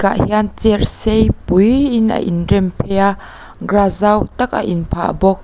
ah hian chair sei pui in a in rem phei a grass zau tak a in phah bawk.